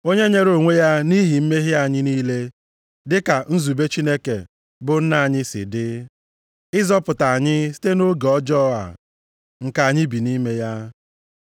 Onye nyere onwe ya nʼihi mmehie anyị niile dị ka nzube Chineke bụ Nna anyị si dị, ịzọpụta anyị site nʼoge ọjọọ a nke anyị bi nʼime ya.